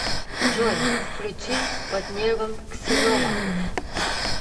джой включи под небом ксинова